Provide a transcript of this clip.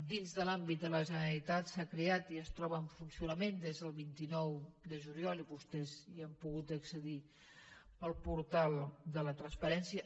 dins de l’àmbit de la generalitat s’ha creat i es troba en funcionament des del vint nou de juliol i vostès hi han pogut accedir el portal de la transparència